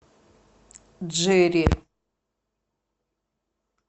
джерри